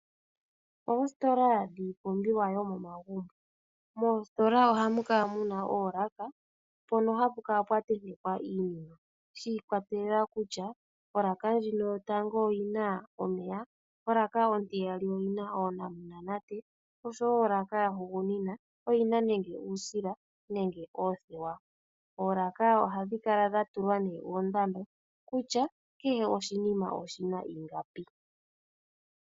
Oositola dhiipumbiwa yomomagumbo. Moostola oha mu kala muna oolaka mpono hapu kala pwa tentekwa iinima, shi ikwatelela kutya olaka ndjino yotango oyi na omeya, olaka ontiyali oyi na oonamunate, oshowo olaka yahugunina yi na nenge uusila, nenge oothewa. Oolaka ohadhi kala dha tulwa oondando kutya kehe oshinima oshi na ingapi.